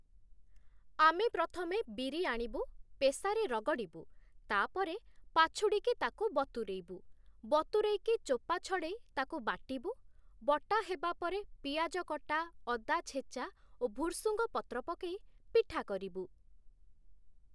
ଆମେ ପ୍ରଥମେ ବିରି ଆଣିବୁ, ପେଷାରେ ରଗଡ଼ିବୁ, ତାପରେ ପାଛୁଡ଼ିକି ତାକୁ ବତୁରେଇବୁ, ବତୁରେଇକି ଚୋପା ଛଡ଼େଇ ତାକୁ ବାଟିବୁ, ବଟା ହେବା ପରେ ପିଆଜ କଟା, ଅଦା ଛେଚା ଓ ଭୁର୍ସୁଙ୍ଗ ପତ୍ର ପକେଇ ପିଠା କରିବୁ ।